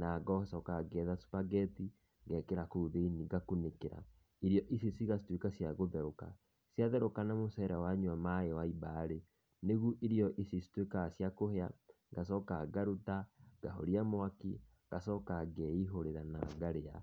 na ngacoka ngetha Superghetti, ngekĩra kũu thĩiniĩ ngakunĩkĩra. Irio icio cigatuĩka cia gũtherũka. Ciatherũka na mũcere wanyua maĩ waimba-rĩ, nĩguo irio ici cituĩkaga cia kũhĩa, ngacoka ngaruta, ngahoria mwaki, ngacoka ngeihũrĩra na ngarĩa.